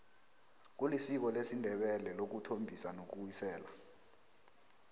kulisiko lesindebele ukuthombisa nokuwisela